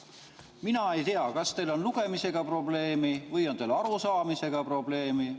Mina ei tea, kas teil on lugemisega probleeme või on teil arusaamisega probleeme.